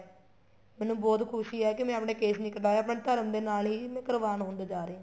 ਮੈਨੂੰ ਬਹੁਤ ਖੁਸ਼ੀ ਹੈ ਕੀ ਮੈਂ ਆਪਣੇ ਕੇਸ ਨਹੀਂ ਕਟਾਏ ਆਪਣੇ ਧਰਮ ਦੇ ਨਾਲ ਹੀ ਕੁਰਬਾਨ ਹੁੰਦਾ ਜਾ ਰਿਹਾ